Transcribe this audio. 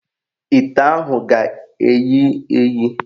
Ite ahụ ga-eyi eyi.